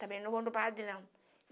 Também não vou no padre, não.